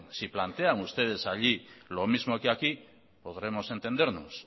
si plantean ustedes allí lo mismo que aquí podremos entendernos